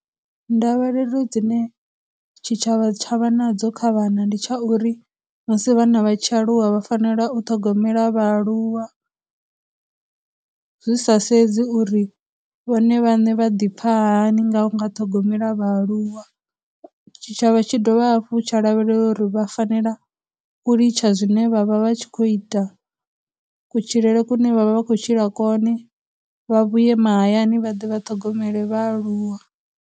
Ndavhelelo dzine tshitshavha tsha vha na dzo kha vhana ndi tsha uri, musi vhana vha tshi aluwa vha fanela u ṱhogomela vhaaluwa, zwi sa sedzi uri vhone vhaṋe vha ḓipfa hani nga unga ṱhogomelwa vhaaluwa, tshitshavha tshi dovha hafhu tsha lavhelela uri vha fanela u litsha zwine vha vha vha tshi khou ita, kutshilele kune vha vha vha khou tshila kone, vha vhuye mahayani vha ḓe vha ṱhogomele vhaaluwa.